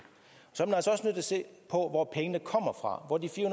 se på hvor pengene kommer fra hvor de fire